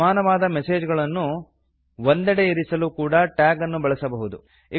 ಸಮಾನವಾದ ಮೆಸೇಜ್ ಗಳನ್ನು ಒಂದೆಡೆ ಇರಿಸಲು ಕೂಡ ಟ್ಯಾಗ್ ಅನ್ನು ಬಳಸಬಹುದು